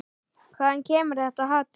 Hvaðan kemur þetta hatur?